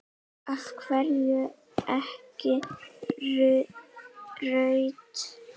Af hverju ekki rautt?